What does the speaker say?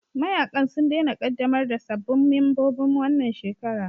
Mayaƙan sun daina ƙaddamar da sabbin membobin wannan shekara